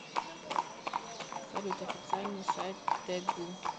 салют официальный сайт тэгу